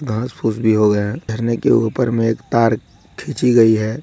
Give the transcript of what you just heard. घास फूस भी हो गया है। झरने के ऊपर में एक तार खीची गई है।